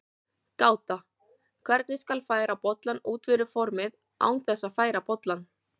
Gáta: Hvernig skal færa bollann út fyrir formið án þess að færa bollann?